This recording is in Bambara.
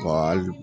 hali